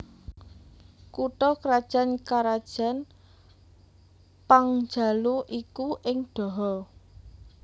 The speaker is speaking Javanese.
Kutha krajan karajan Pangjalu iku ing Daha